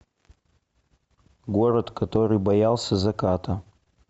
город который боялся заката